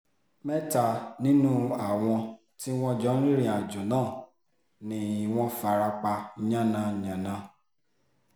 mẹ́ta nínú àwọn tí wọ́n jọ ń rìnrìn-àjò náà ni wọ́n fara pa yánnayànna